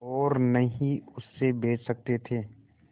और न ही उसे बेच सकते थे